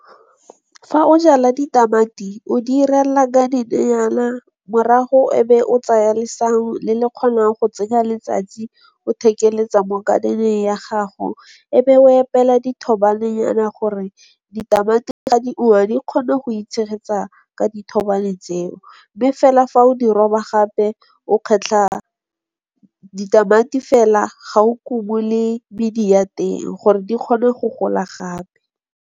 Fa o jala ditamati o di 'irela ka garden-nyana, morago e be o tsaya lesau le le kgonang go tsenya letsatsi o thekeletsa mo garden-eng ya gago. E be o opela dithobanenyane gore ditamati ga di kgone go itshegetsa ka dithobane tseo, mme fela fa o di roba gape o kgetlha ditamati fela ga o kobulle medi ya teng gore di kgone go gola gape.